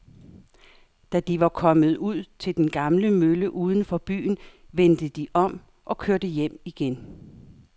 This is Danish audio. Da de var kommet ud til den gamle mølle uden for byen, vendte de om og kørte hjem igen.